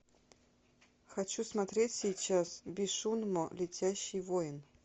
хочу смотреть сейчас бесшумно летящий воин